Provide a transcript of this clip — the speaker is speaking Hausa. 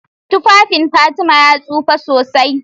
Tufafin Fatima ya tsufa sosai.